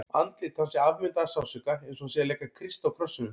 Andlit hans er afmyndað af sársauka, eins og hann sé að leika Krist á krossinum.